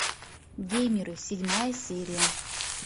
геймеры седьмая серия